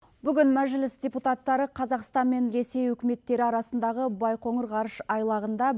бүгін мәжіліс депутаттары қазақстан мен ресей үкіметтері арасындағы байқоңыр ғарыш айлағында